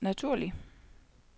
naturlig